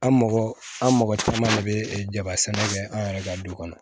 An mɔgɔ an mɔgɔ caman de bɛ jaba sɛnɛ kɛ an yɛrɛ ka du kɔnɔ